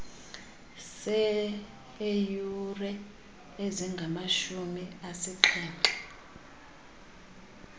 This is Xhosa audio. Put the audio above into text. seeyure azingamashumi asixhenxe